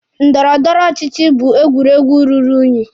Ndọrọ ndọrọ ọchịchị bụ egwuregwu ruru unyi.